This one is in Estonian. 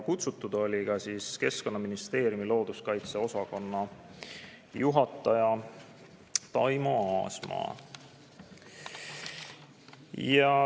Kutsutud oli ka Keskkonnaministeeriumi looduskaitseosakonna juhataja Taimo Aasma.